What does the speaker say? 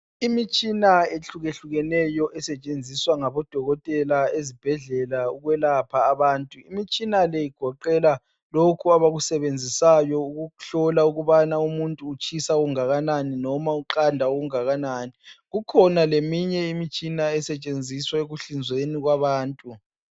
Imitshina ehlukehlukeneyo esetshenziswa ngabodokotela ezibhedlela ukwelapha abantu. Imitshina le igoqela lokhu abakusebenzisayo ukuhlola ukubana umuntu utshisa okungakanani noma uqanda okungakanani. Kukhona leminye imitshina esetshenziswa ekuhlinzeni kwabantu.